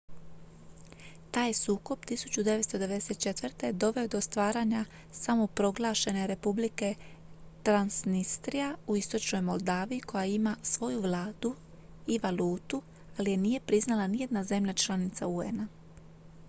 taj je sukob 1994. doveo do stvaranja samoproglašene republike transnistria u istočnoj moldaviji koja ima svoju vladu i valutu ali je nije priznala nijedna zemlja članica un-a